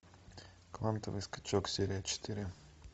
квантовый скачок серия четыре